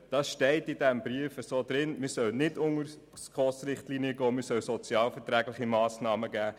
In diesem steht, die SKOS-Richtlinien sollen nicht unterschritten werden, sondern es sollen sozialverträgliche Massnahmen ergriffen werden.